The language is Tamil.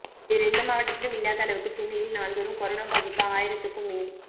வேறெந்த மாவட்டத்திலும் இல்லாத அளவுக்கு சென்னையில் நாள்தோறும் கரோனா பாதிப்பு ஆயிரத்துக்கும் மேல்